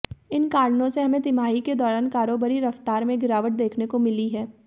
इन कारणों से हमें तिमाही के दौरान कारोबारी रफ्तार में गिरावट देखने को मिली है